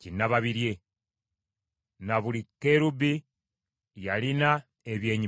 kinnababirye. Ne buli kerubi yalina ebyenyi bibiri